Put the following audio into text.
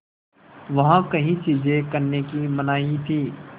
वहाँ कई चीज़ें करने की मनाही थी